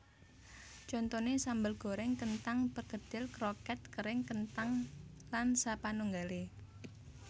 Contoné sambel gorèng kenthang perkedel kroket kering kenthang lan sapanunggalé